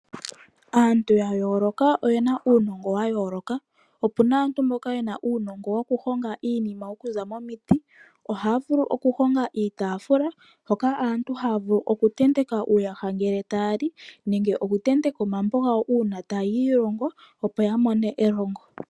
Aantu ya yooloka oyena uunongo wa yooloka, opuna aantu mboka yena uunongo wokuhonga iinima okuza momiti. Ohaya vulu okuhonga iitafula hoka aantu haya vulu okutenteka uuyaha ngele taya li, nenge okutenteka omambo gawo uuna taya ilongo opo ya mone elongo.